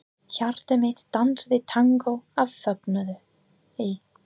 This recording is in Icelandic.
Hjarta mitt dansaði tangó af fögnuði.